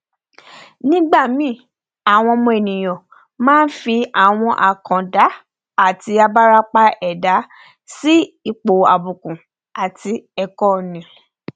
nígbàmíì àwa ọmọ ènìà máa nfi àwọn àkàndá àti abarapa ẹdá si ipò àbùkù àti ẹkọ ni